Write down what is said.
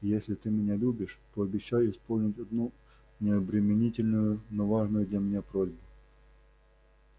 просто если ты меня любишь пообещай исполнить одну необременительную но важную для меня просьбу